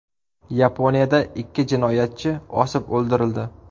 Yaponiyada ikki jinoyatchi osib o‘ldirildi.